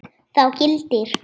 Þá gildir